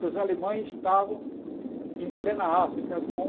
Porque os alemães estavam em plena África com